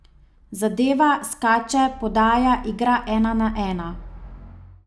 Zadeva, skače, podaja, igra ena na ena.